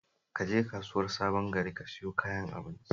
Ka je kasuwar Sabon gari ka sayo kayan abincin